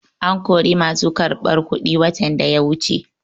An kori masu karɓar kuɗi watan da ya wuce.